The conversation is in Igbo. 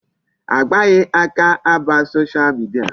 A gbaghị aka aba Social media.